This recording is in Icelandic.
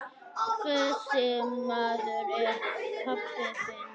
Þessi maður er pabbi þinn.